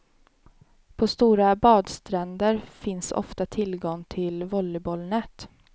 På stora badstränder finns ofta tillgång till volleybollnät.